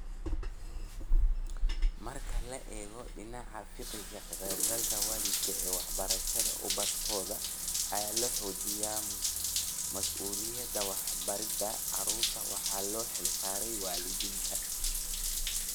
Marka laga eego dhinaca fiqiga, ka-qaybgalka waalidka ee waxbarashada ubadkooda ayaa la xoojiyaa, mas'uuliyadda waxbaridda carruurta waxaa loo xilsaaray waalidiinta